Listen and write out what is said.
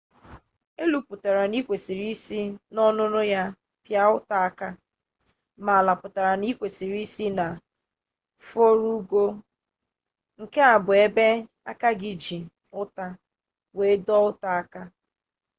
elu pụtara na ị kwesịrị isi n'ọnụnụ ya pịa ụta aka ma ala pụtara na ị kwesịrị isi na fụrọgụ nke bụ ebe aka gị ji ụta were dọọ ụta aka